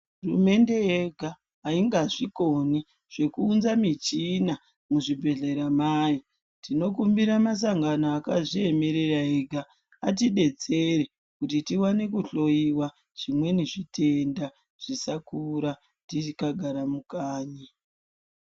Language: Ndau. Hurumende yega ainga zvikoni zvekuunza michina muzvibhedhlera mayo tinokumbira masangano akazviemerera ega atibetsere kuti tione kuhloiwa zvimweni zvitenda zvisakura tingagara mukanyi.